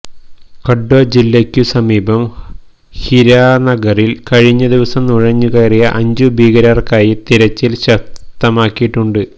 കഠ്വ ജില്ലയ്ക്കു സമീപം ഹിരാനഗറിൽ കഴിഞ്ഞദിവസം നുഴഞ്ഞുകയറിയ അഞ്ചു ഭീകരർക്കായി തിരച്ചിൽ ശക്തമാക്കിയിട്ടുണ്ട്